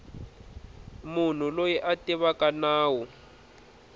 munhu loyi a tivaka nawu